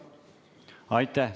Aitäh!